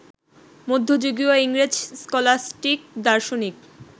মধ্যযুগীয় ইংরেজ স্কলাস্টিক দার্শনিক